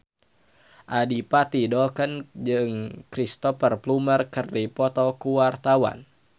Adipati Dolken jeung Cristhoper Plumer keur dipoto ku wartawan